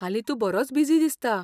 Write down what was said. हालीं तूं बरोच बिजी दिसता.